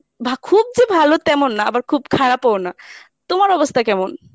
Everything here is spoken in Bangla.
বা খুব যে ভালো তেমন না আবার খুব খারাপও না, তোমার অবস্থা কেমন?